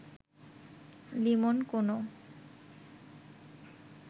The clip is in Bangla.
লিমন কোনো